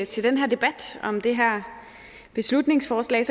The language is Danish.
til den her debat om det her beslutningsforslag